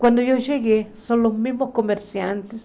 Quando eu cheguei, são os mesmos comerciantes.